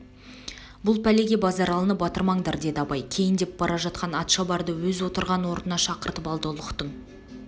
бұл пәлеге базаралыны батырмаңдар деді абай кейндеп бара жатқан атшабарды өз отырған орнына шақырып алды ұлықтың